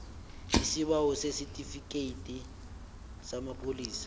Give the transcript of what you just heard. isibawo sesitifikhethi samapholisa